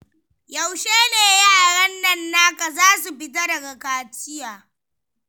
Yaushe ne yaran nan naka za su fita daga kaciya?